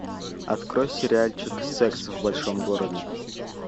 открой сериальчик секс в большом городе